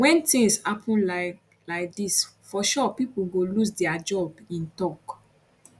wen tins happun like like dis for sure pipo go lose dia job im tok